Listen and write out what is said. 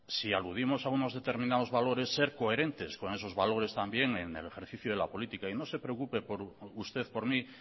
si aludimos a unos determinados valores ser coherentes con esos valores también en el ejercicio de la política y no se preocupe usted por mí